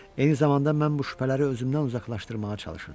Eyni zamanda mən bu şübhələri özümdən uzaqlaşdırmağa çalışırdım.